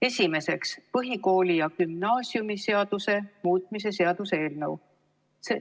Esimeseks, põhikooli- ja gümnaasiumiseaduse muutmise seaduse eelnõu.